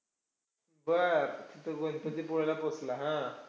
बरं! तिथं गणपतीपुळ्याला पोहोचला. हम्म